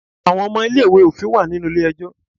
Àwọn ọmọ ilé ìwé òfin wà nínú ilé ẹjọ́.